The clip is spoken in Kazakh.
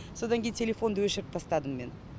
содан кейін телефонды өшіріп тастадым мен